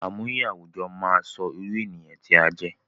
Àmúye àwùjọ máa sọ irú ènìyàn tí a jẹ́